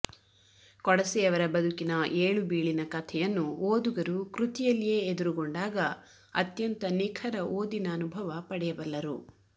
ಕೊಡಸೆಯವರ ಬದುಕಿನ ಏಳುಬೀಳಿನ ಕಥೆಯನ್ನು ಓದುಗರು ಕೃತಿಯಲ್ಲಿಯೇ ಎದುರುಗೊಂಡಾಗ ಅತ್ಯಂತ ನಿಖರ ಓದಿನ ಅನುಭವ ಪಡೆಯಬಲ್ಲರು